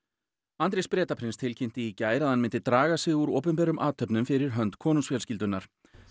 Andrés Bretaprins tilkynnti í gær að hann myndi draga sig úr opinberum athöfnum fyrir hönd konungsfjölskyldunnar